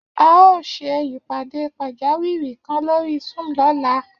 A óò ṣe ìpàdé pàjáwìrì kan lórí Zoom lọ́la